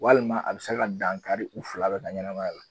Walima a bɛ se ka dankari u fila bɛɛ ka ɲanamaya la.